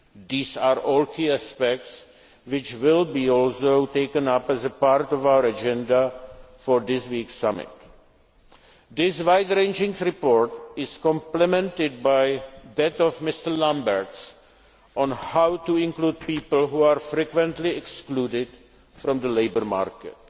These are all key aspects which will also be taken up as part of our agenda for this week's Summit. This wide ranging report is complemented by that of Ms Lambert on how to include people who are frequently excluded from the labour